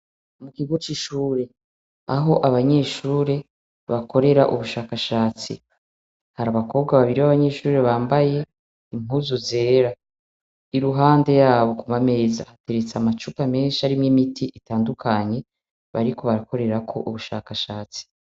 Ikigo c'ishure, aho abanyeshure bakorera ubushakashatsi. Hari abakobwa babiri b'abanyeshure bambaye impuzu zera. Iruhande yabo ku mameza hateretse amacupa menshi arimw'imiti itandukanye bariko barakorerako ubushakashatsi.